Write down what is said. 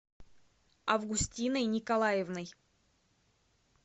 августиной николаевной